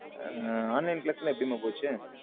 Online class லம் எப்பிடி மா போச்சு.